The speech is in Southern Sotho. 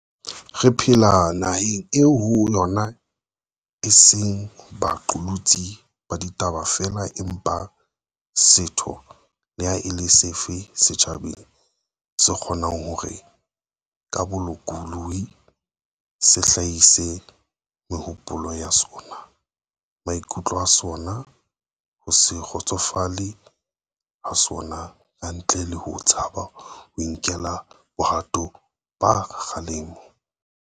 Re phela naheng eo ho yona e seng ba qolotsi ba ditaba feela empa setho le ha e le sefe sa setjhaba se kgo nang hore, ka bolokolohi, se hlahise mehopolo ya sona, maikutlo a sona, ho se kgotsofale ha sona ka ntle le ho tshaba ho nkelwa bohato ba kgalemo.